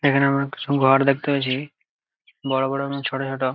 এখানে আমরা কিছু ঘর দেখতে পাচ্ছি বড়ো বড়ো এবং ছোট ছোট ।